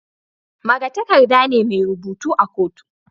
Magatakarda ne mai rubutu a kotu